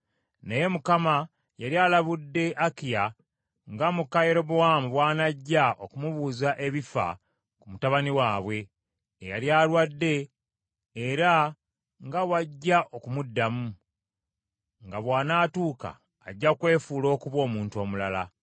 Naye Mukama yali alabudde Akiya nga muka Yerobowaamu bw’anajja okumubuuza ebifa ku mutabani waabwe, eyali alwadde era nga bw’ajja okumuddamu, nga bw’anaatuuka ajja kwefuula okuba omuntu omulala.